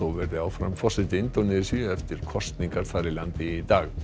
verði áfram forseti Indónesíu eftir kosningar þar í landi í dag